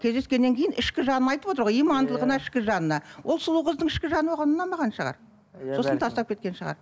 кездескеннен кейін ішкі жанын айтып отыр ғай имандылығына ішкі жанына ол сұлу қыздың ішкі жаны оған ұнамаған шығар сосын тастап кеткен шығар